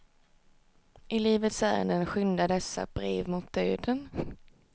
I livets ärenden skyndar dessa brev mot döden.